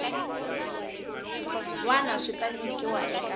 wana swi ta nyikiwa eka